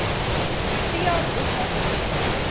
protea boekhuis